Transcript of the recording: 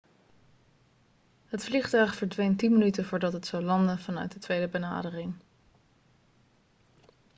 het vliegtuig verdween 10 minuten voordat het zou landen vanuit de tweede benadering